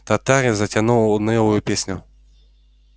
татарин затянул унылую песню